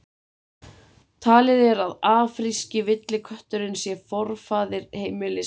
Talið er að afríski villikötturinn sé forfaðir heimiliskattarins.